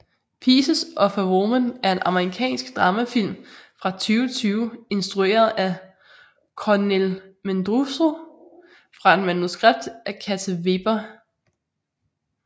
Pieces of a Woman er en amerikansk dramafilm fra 2020 instrueret af Kornél Mundruczó fra et manuskript af Kata Wéber